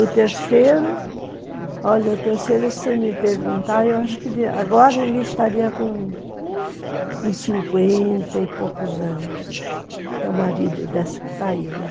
O terceiro, olha, o terceiro, se você me perguntar, eu acho que agora ele estaria com com cinquenta e poucos anos, que é o marido desse que está aí, né?